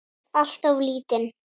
Alltof lítinn.